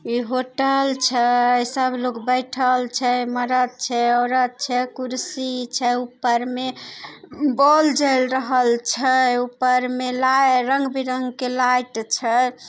इ होटल छै। सब लोग बैठल छै। मरद छै औरत छै कुर्सी छै ऊपर में। बॉल जेल रहल छै । ऊपर में लाई रंग-बिरंगे के लाइट छै।